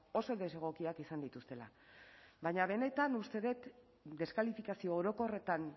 oso desegokiak izan dituztela baina benetan uste dut deskalifikazio orokorretan